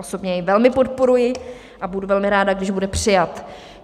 Osobně jej velmi podporuji a budu velmi ráda, když bude přijat.